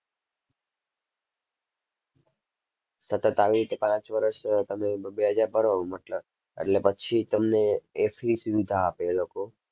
સતત આવી રીતે પાંચ વર્ષ તમે બે-બે હજાર ભરો મતલબ એટલે પછી તમને એ free સુવિધા આપે એ લોકો.